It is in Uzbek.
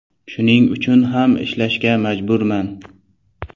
Shuning uchun ham ishlashga majburman.